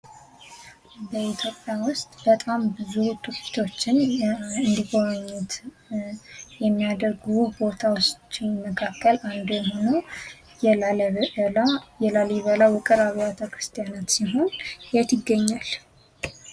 በኢትዮጵያ ውስጥ በጣም ብዙ ቱሪስቶችን እንዲጎበኙት የሚያደርግ ውብ ቦታ ውስጥ አንዱ የሆነው የላሊበላ ውቅር አብያተ ክርስቲያናት ሲሆን የት ይገኛል?